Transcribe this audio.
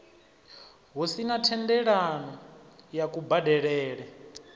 hu sina thendelano ya kubadelele